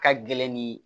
Ka gɛlɛn ni